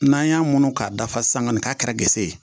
N'an y'a munu k'a dafa sisan kɔni k'a kɛra gse ye